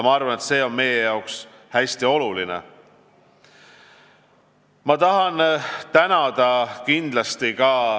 Arvan, et see on meie jaoks hästi oluline.